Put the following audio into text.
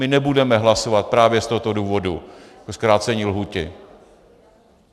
My nebudeme hlasovat právě z tohoto důvodu pro zkrácení lhůty.